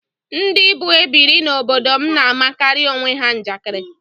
Ndị bụ ebiri n'obodo m na-amakarị onwe ha njakịrị